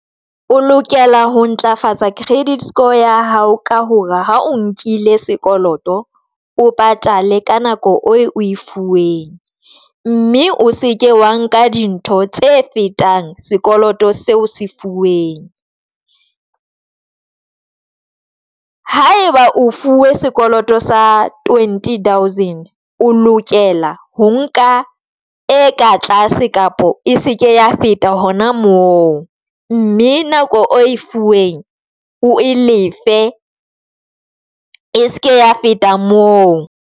O lokela ho ntlafatsa credit score ya hao ka hore ha o nkile sekoloto, o patale ka nako o e fuweng mme o seke wa nka dintho tse fetango sekoloto seo se fuweng. Ha e ba o fuwe sekoloto sa twenty thousand, o lokela ho nka e ka a tlase kapa e seke ya feta hona moo, mme nako e fuweng o e lefe e seke ya feta moo.